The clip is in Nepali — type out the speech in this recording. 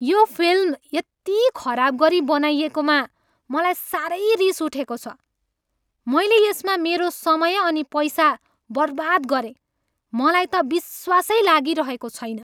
यो फिल्म यति खराब गरी बनाइएकोमा मलाई साह्रै रिस उठेको छ। मैले यसमा मेरो समय अनि पैसा बर्बाद गरेँ, मलाई त विश्वासै लागिरहेको छैन।